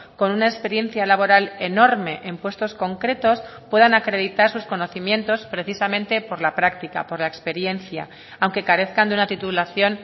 con una experiencia laboral enorme en puestos concretos puedan acreditar sus conocimientos precisamente por la práctica por la experiencia aunque carezcan de una titulación